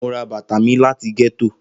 Mo ra bata mi lati getto.